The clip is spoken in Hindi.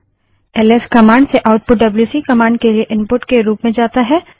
एल एस कमांड से आउटपुट डब्ल्यूसी कमांड के लिए इनपुट के रूप में जाता है